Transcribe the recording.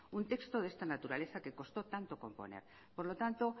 un texto de esta naturaleza que costó tanto componer por lo tanto